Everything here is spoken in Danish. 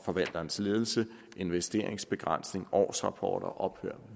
forvalterens ledelse investeringsbegrænsninger årsrapporter ophør